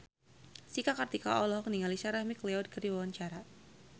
Cika Kartika olohok ningali Sarah McLeod keur diwawancara